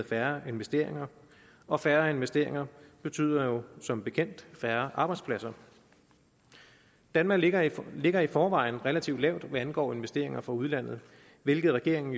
færre investeringer og færre investeringer betyder jo som bekendt færre arbejdspladser danmark ligger i ligger i forvejen relativt lavt hvad angår investeringer fra udlandet hvilket regeringen